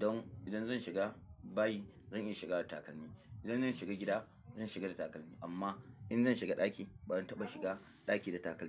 Don idan zan shiga bayi zan iya shiga da takalmi, idan zan shiga gida zan shiga da takalmi amma in zan shiga ɗaki ba zan taɓa shiga ɗaki da takalmi.